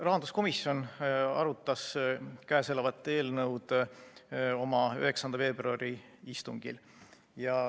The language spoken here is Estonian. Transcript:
Rahanduskomisjon arutas käesolevat eelnõu oma 9. veebruari istungil.